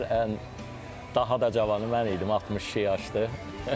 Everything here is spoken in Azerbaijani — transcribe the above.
Ən daha da cavanı mən idim 62 yaşdır.